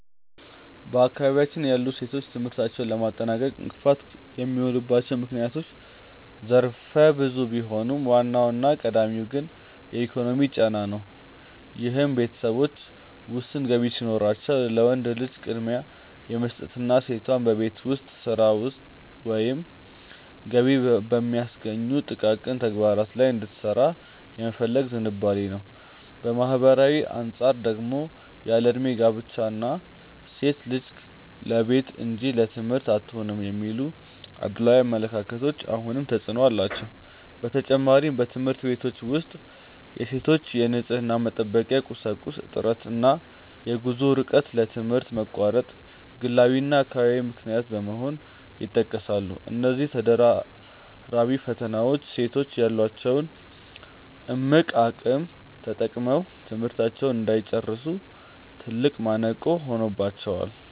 በአካባቢያችን ያሉ ሴቶች ትምህርታቸውን ለማጠናቀቅ እንቅፋት የሚሆኑባቸው ምክንያቶች ዘርፈ ብዙ ቢሆኑም፣ ዋናውና ቀዳሚው ግን ኢኮኖሚያዊ ጫና ነው፤ ይህም ቤተሰቦች ውስን ገቢ ሲኖራቸው ለወንድ ልጅ ቅድሚያ የመስጠትና ሴቷ በቤት ውስጥ ሥራ ወይም ገቢ በሚያስገኙ ጥቃቅን ተግባራት ላይ እንድትሰማራ የመፈለግ ዝንባሌ ነው። ከማኅበራዊ አንጻር ደግሞ ያለዕድሜ ጋብቻ እና "ሴት ልጅ ለቤት እንጂ ለትምህርት አትሆንም" የሚሉ አድሏዊ አመለካከቶች አሁንም ተፅዕኖ አላቸው። በተጨማሪም፣ በትምህርት ቤቶች ውስጥ የሴቶች የንፅህና መጠበቂያ ቁሳቁስ እጥረት እና የጉዞ ርቀት ለትምህርት መቋረጥ ግላዊና አካባቢያዊ ምክንያቶች በመሆን ይጠቀሳሉ። እነዚህ ተደራራቢ ፈተናዎች ሴቶች ያላቸውን እምቅ አቅም ተጠቅመው ትምህርታቸውን እንዳይጨርሱ ትልቅ ማነቆ ሆነውባቸዋል።